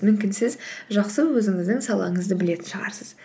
мүмкін сіз жақсы өзіңіздің салаңызды білетін шығарсыз